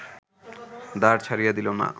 দ্বার ছাড়িয়া দিল না